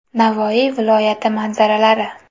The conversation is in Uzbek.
Navoiy viloyati manzaralari.